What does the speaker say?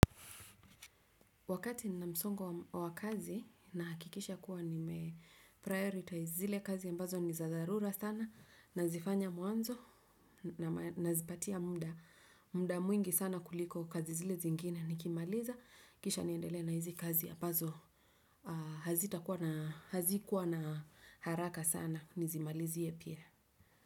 Wakati ninamsongo wa kazi, na hakikisha kuwa ni meprioritize zile kazi ambazo ni za dharura sana, nazifanya muanzo, nazipatia muda muda mwingi sana kuliko kazi zile zingine nikimaliza, kisha niendele na hizi kazi ambazo hazitakuwa na hazikuwa na haraka sana, nizimalizie pia.